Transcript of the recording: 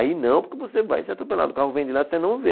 Aí não, porque você vai ser atropelado, o carro vem de lá e você não vê.